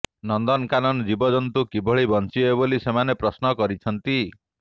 ନନ୍ଦନକାନନ ଜୀବଜନ୍ତୁ କିଭଳି ବଞ୍ଚିବେ ବୋଲି ସେମାନେ ପ୍ରଶ୍ନ କରିଛନ୍ତି